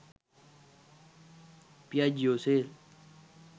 piaggio sale